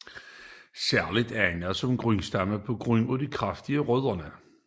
Særligt egnet som grundstamme på grund af de kraftige rødder